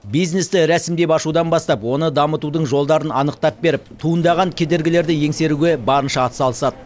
бизнесті рәсімдеп ашудан бастап оны дамытудың жолдарын анықтап беріп туындаған кедергілерді еңсеруге барынша атсалысады